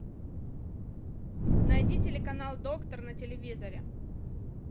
найди телеканал доктор на телевизоре